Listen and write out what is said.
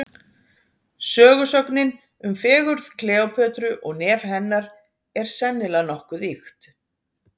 Sögusögnin um fegurð Kleópötru og nef hennar, er sennilega nokkuð ýkt.